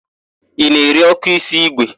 Ị na-ere ọ́kụ́ísí ígwè?